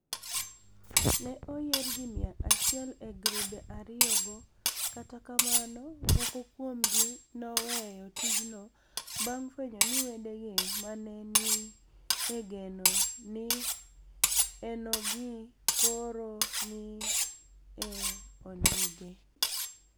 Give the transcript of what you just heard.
ni e oyier ji mia achiel e grube ariyogo, kata kamano, moko kuomgi noweyo tijno banig' fweniyo nii wedegi ma ni e geno ni enogi koro ni e onige.